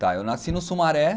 Tá, eu nasci no Sumaré,